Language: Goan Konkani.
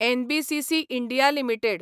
NBCC India limited